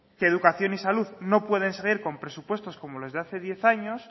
que educación y salud no pueden seguir con presupuestos como los de hace diez años